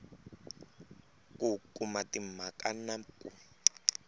ku kuma timhaka na ku